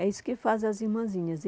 É isso que fazem as irmãzinhas.